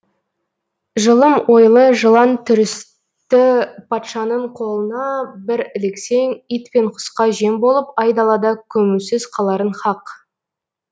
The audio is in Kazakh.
жылым ойлы жылан түрісті патшаның қолына бір іліксең ит пен құсқа жем болып айдалада көмусіз қаларың хақ